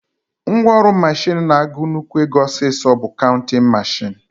Ngwaọrụ mashin na-agụ nnukwu ego ọsịsọ bụ kauntịn mashin